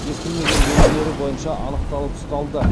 ескірмеген белгілері бойынша анықталып ұсталды